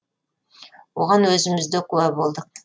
оған өзіміз де куә болдық